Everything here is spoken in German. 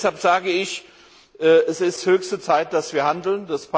Deshalb sage ich, es ist höchste Zeit, dass wir handeln.